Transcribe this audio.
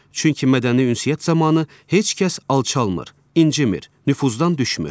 Çünki mədəni ünsiyyət zamanı heç kəs alçalmur, incimir, nüfuzdan düşmür.